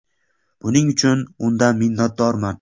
Buning uchun undan minnatdorman.